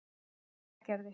Melgerði